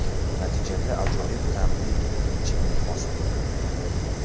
Natijada ajoyib ta’mli ichimlik hosil bo‘ladi.